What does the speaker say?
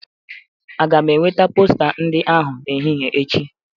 Aga m enwete posta ndị ahụ n'ehihi echi?